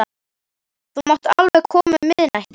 Þú mátt alveg koma um miðnættið.